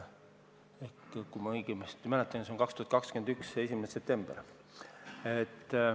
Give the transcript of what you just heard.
Kui ma õigesti mäletan, siis on see 2021. aasta 1. september.